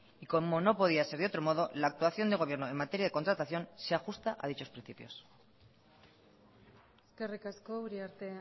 y como no podía ser de otro modo la actuación del gobierno en materia de contratación se ajusta a dichos principios eskerrik asko uriarte